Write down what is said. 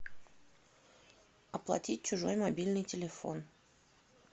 оплатить чужой мобильный телефон